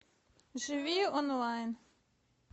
живи онлайн